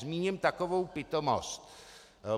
Zmíním takovou pitomost.